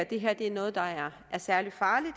det her er noget der er særlig farligt